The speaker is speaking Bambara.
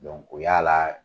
o y'a la